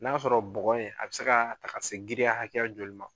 N'a y'a sɔrɔ bɔgɔ in a bɛ se ka ta ka se girinya hakɛya joli ma.